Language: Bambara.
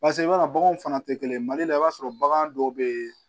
Paseke i b'a dɔn baganw fana tɛ kelen ye mali la i b'a sɔrɔ bagan dɔw bɛ yen